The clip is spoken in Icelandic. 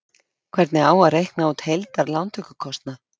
Hvernig á að reikna út heildar lántökukostnað?